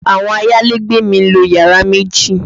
Àwọn ayálégbé mi ń lo yàrá méjì